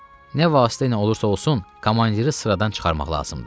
Nə vasitəylə olursa-olsun, komandiri sıradan çıxarmaq lazımdır.